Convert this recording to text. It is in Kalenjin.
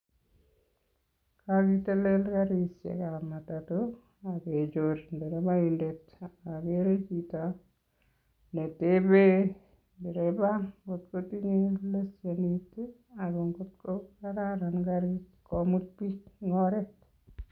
Kokitelel karisiekab matato akenyor ndereboindet akere chito netepeen ndereba ng'ot kotinye lesenisiek ak ng'ot ko kararan karit komut biik en oret.